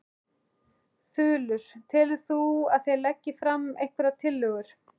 Þulur: Telur þú að þeir leggi fram einhverjar tillögur?